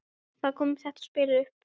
Þar kom þetta spil upp.